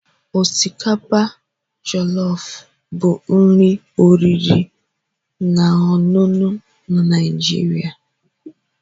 Osikapa Jọlọf bụ nri oriri na ọṅụṅụ na Naijiria.